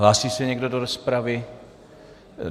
Hlásí se někdo do rozpravy?